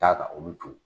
Taa ka olu to yen